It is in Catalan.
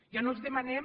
ja no els demanem